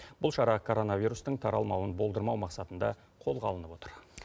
бұл шара коронавирустың таралмауын болдырмау мақсатында қолға алынып отыр